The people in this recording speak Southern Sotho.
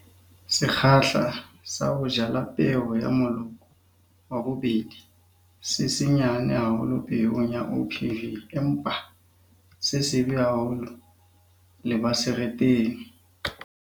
Sekgahla sa ho jala peo ya moloko wa bobedi se senyane haholo peong ya OPV, empa se sebe haholo lebasetereng.